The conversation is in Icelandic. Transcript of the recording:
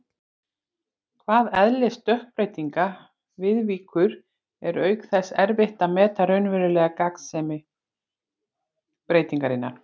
hvað eðli stökkbreytinga viðvíkur, er auk þess erfitt að meta raunverulega gagnsemi breytingarinnar.